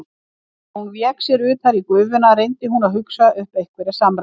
Þegar hún vék sér utar í gufuna reyndi hún að hugsa upp einhverjar samræður.